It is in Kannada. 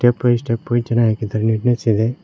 ಸ್ಟೆಪ್ ಬೈ ಸ್ಟೆಪ್ ಚೆನ್ನಾಗಾಕಿದ್ದಾರೆ ನೀಟ್ನೆಸ್ ಇದೆ.